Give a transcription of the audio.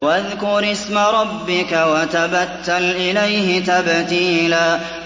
وَاذْكُرِ اسْمَ رَبِّكَ وَتَبَتَّلْ إِلَيْهِ تَبْتِيلًا